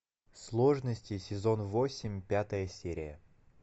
сложности сезон восемь пятая серия